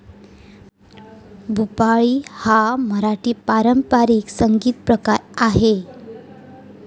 भुपाळी हा मराठी पारंपरिक संगीतप्रकार आहे.